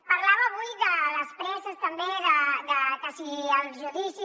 parlava avui de les presses també de que si els judicis